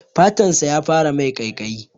Fatan sa ya fara mai ƙaiƙayi.